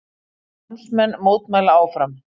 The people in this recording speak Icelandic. Námsmenn mótmæla áfram